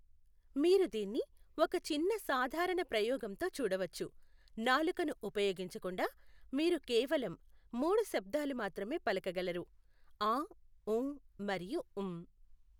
మీరు దీన్ని ఒక చిన్న సాధారణ ప్రయోగంతో చూడవచ్చు, నాలుకను ఉపయోగించకుండా మీరు కేవలం మూడు శబ్దాలు మాత్రమే పలకగలరు ఆఁ ఊఁ మరియు మ్.